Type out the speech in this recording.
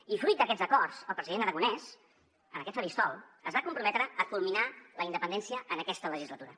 i fruit d’aquests acords el president aragonès en aquest faristol es va comprometre a culminar la independència en aquesta legislatura